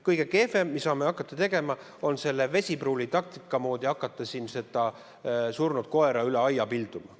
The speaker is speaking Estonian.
Kõige kehvem, mida me saame teha, on hakata Vesipruuli moodi surnud koera üle aia pilduma.